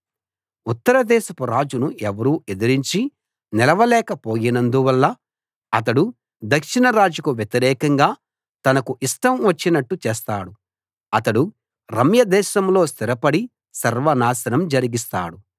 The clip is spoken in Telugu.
ఉత్తర దేశపు రాజును ఎవరూ ఎదిరించి నిలవలేక పోయినందువల్ల అతడు దక్షిణ రాజుకు వ్యతిరేకంగా తనకు ఇష్టం వచ్చినట్టు చేస్తాడు అతడు రమ్యదేశంలో స్థిరపడి సర్వనాశనం జరిగిస్తాడు